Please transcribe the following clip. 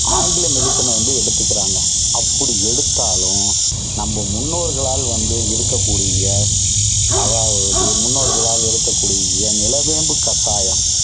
ஆங்கில medicine ன வந்து எடுத்துக்கிறாங்க. அப்படி எடுத்தாலும், நம்ம முன்னோர்களால் வந்து இருக்கக்கூடிய அதாவது முன்னோர்களால் இருக்கக்கூடிய நிலவேம்பு கஷாயம்